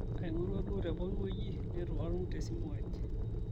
aingorua duoo tepoki wuueji neitu atum te simu aai